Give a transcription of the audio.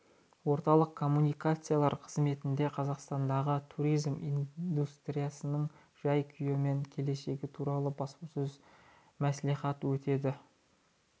орталық коммуникациялар қызметінде қазақстандағы туризм индустриясының жай-күйі мен келешегі туралы баспасөз мәслихаты өтеді спикер қазақстан республикасы мәдениет және спорт вице-министрі ерлан